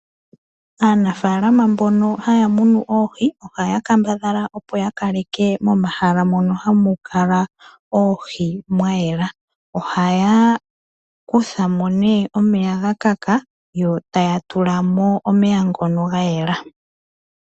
Aanafaalama mbono haya munu oohi oha ya kambadhala opo ya kaleke momahala mono hamu kala oohi mwayela. Oha ya kuthamo nee omeya gakaka yo ta ya tulamo omeya ngono ga yela.